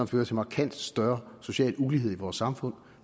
fører til markant større social ulighed i vores samfund